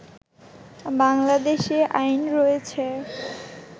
বাংলাদেশে আইন রয়েছে